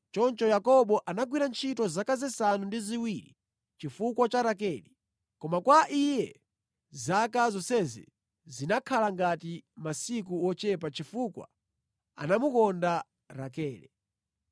Choncho Yakobo anagwira ntchito zaka zisanu ndi ziwiri chifukwa cha Rakele. Koma kwa iye zaka zonsezi zinakhala ngati masiku wochepa chifukwa anamukonda Rakele.